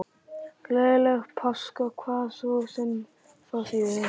Gleðilega páska, hvað svo sem það þýðir.